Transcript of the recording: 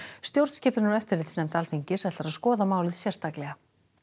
stjórnskipunar og eftirlitsnefnd Alþingis ætlar að skoða málið sérstaklega